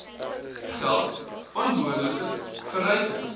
geld onbehoorlike verryking